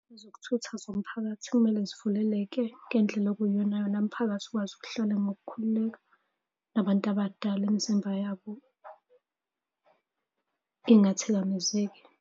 Ezokuthutha zomphakathi kumele zivuleleke ngendlela okuyiyonayona umphakathi ukwazi ukuhlala ngokukhululeka, nabantu abadala imizimba yabo ingathikamezeki.